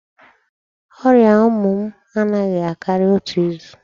Ọrịa ụmụ m anaghị akari otu izu.